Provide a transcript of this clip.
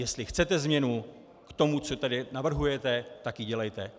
Jestli chcete změnu k tomu, co tady navrhujete, tak ji dělejte.